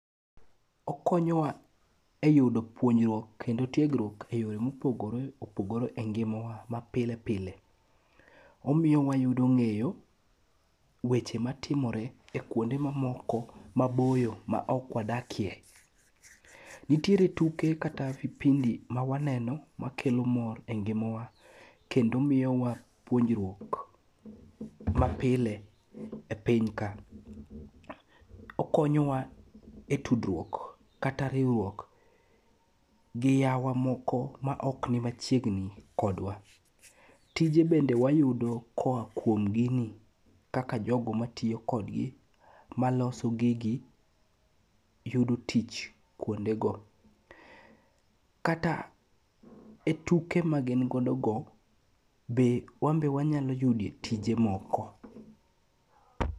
Okonyowa e yudo puonjruok kendo tiegruok e yore mopogore opogore e ngimawa mapile pile. Omiyo wayudo ng'eyo weche matimore e kwonde mamoko maboyo ma ok wadakie, nitiere tuke kata vipindi ma waneno makelo mor e ngimawa kendo miyowa puonjruok mapile e piny ka. Okonyowa e tudruok kata riwruok gi yawa moko ma ok ni machiegni kodwa. Tije bende wayudo koa kuom gini kaka jogo matiyo kodgi maloso gigi yudo tich kwondego, kata e tuke magin godogo, be wan be wanyalo yude tije moko.